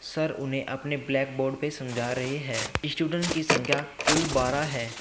Sir उन्हें अपने blackboard पे समझा रहे हैं स्टूडेंट की संख्या कुल बारह है।